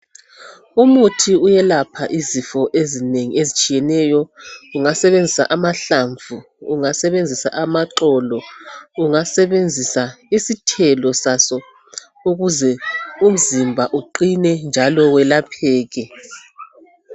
Umuthi uyelapha izifo ezinengi ezitshiyeneyo ungasebenzisa amahlamvu, ungasebenzisa amaxolo, ungasebenzisa isithelo saso ukuze umzimba uqine njalo welapheke.